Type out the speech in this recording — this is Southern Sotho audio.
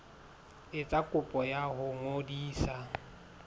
etsa kopo ya ho ngodisa